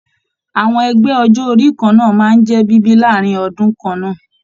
Àwọn ẹgbẹ ọjọ orí kanna máa n jẹ bíbí láàrin ọdún kanna.